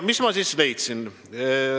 Mis ma leidsin?